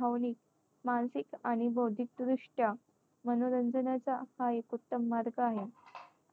भावनिक, मानसिक आणि बौद्धिकदृष्ट्या मनोरंजनाचा हा एक उत्तम मार्ग आहे